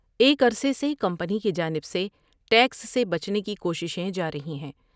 ایک عرصے سے کمپنی کی جانب سے ٹیکس سے بچنے کی کوششیں جارہی ہیں ۔